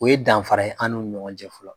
O ye danfara ye an nun ni ɲɔgɔn cɛ fɔlɔ